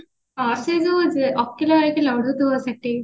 ହଁ ସିଏ ଯୋଉ ଓକିଲ ଓକିଲ order ଦବା ସେଠି